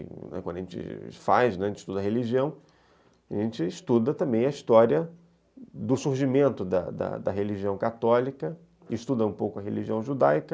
Quando a gente faz, né, a gente estuda a religião, a gente estuda também a história do surgimento da da da religião católica, que estuda um pouco a religião judaica.